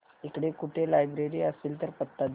इकडे कुठे लायब्रेरी असेल तर पत्ता दे